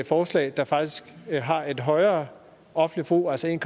forslag der faktisk har et højere offentligt forbrug altså en